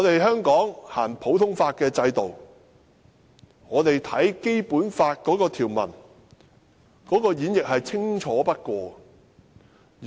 香港實行普通法制度，《基本法》條文的演繹是最清楚不過的。